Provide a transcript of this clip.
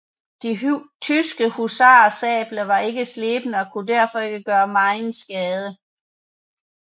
De tyske husarers sabler var ikke slebne og kunne derfor ikke gøre megen skade